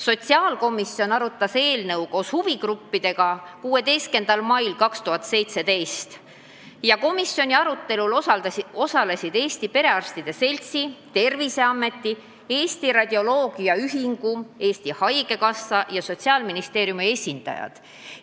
Sotsiaalkomisjon arutas eelnõu koos huvigruppidega 16. mail 2017 ja komisjoni arutelul osalesid Eesti Perearstide Seltsi, Terviseameti, Eesti Radioloogia Ühingu, Eesti Haigekassa ja Sotsiaalministeeriumi esindajad.